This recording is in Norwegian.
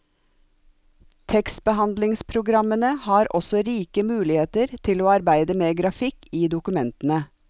Tekstbehandlingspogrammene har også rike muligheter til å arbeide med grafikk i dokumentene.